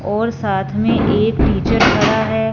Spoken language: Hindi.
और साथ में एक टीचर खड़ा है।